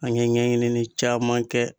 An ɲɛ ɲɛɲinini caaman kɛ